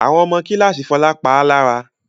Àwọn ọmọ kíláàsì Fọlá pa á lára.